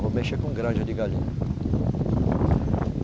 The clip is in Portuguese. Vou mexer com granja de galinha.